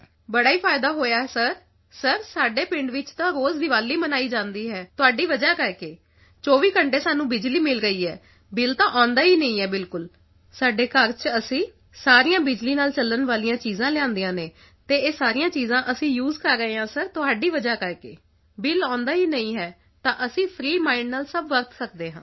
ਬਹੁਤ ਸਰ ਫਾਇਦਾ ਤਾਂ ਫਾਇਦਾ ਹੀ ਫਾਇਦਾ ਹੋਇਆ ਹੈ ਸਰ ਸਰ ਸਾਡੇ ਪਿੰਡ ਵਿੱਚ ਤਾਂ ਰੋਜ਼ ਦੀਵਾਲੀ ਮਨਾਈ ਜਾਂਦੀ ਹੈ ਤੁਹਾਡੀ ਵਜ੍ਹਾ ਕਰਕੇ 24 ਘੰਟੇ ਸਾਨੂੰ ਬਿਜਲੀ ਮਿਲ ਰਹੀ ਹੈ ਬਿਲ ਤਾਂ ਆਉਂਦਾ ਹੀ ਨਹੀਂ ਹੈ ਬਿਲਕੁਲ ਸਾਡੇ ਘਰ ਚ ਅਸੀਂ ਸਾਰੀਆਂ ਬਿਜਲੀ ਨਾਲ ਚੱਲਣ ਵਾਲੀਆਂ ਚੀਜ਼ਾਂ ਲਿਆਂਦੀਆਂ ਨੇ ਤੇ ਇਹ ਸਾਰੀਆਂ ਚੀਜ਼ਾਂ ਅਸੀਂ ਸੇ ਕਰ ਰਹੇ ਹਾਂ ਸਰ ਤੁਹਾਡੀ ਵਜ੍ਹਾ ਕਰਕੇ ਸਰ ਬਿਲ ਆਉਂਦਾ ਹੀ ਨਹੀਂ ਹੈ ਤਾਂ ਅਸੀਂ ਫਰੀ ਮਾਈਂਡ ਨਾਲ ਸਭ ਵਰਤ ਸਕਦੇ ਹਾਂ